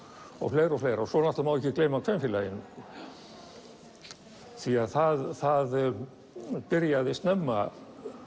og fleira og fleira svo náttúrulega má ekki gleyma kvenfélaginu því að það það byrjaði snemma